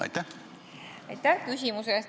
Aitäh küsimuse eest!